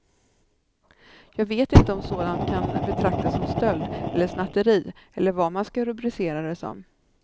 Jag vet inte om sådant kan betraktas som stöld, eller snatteri, eller vad man ska rubricera det som.